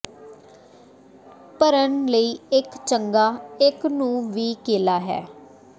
ਭਰਨ ਲਈ ਇੱਕ ਚੰਗਾ ਇੱਕ ਨੂੰ ਵੀ ਕੇਲਾ ਹੈ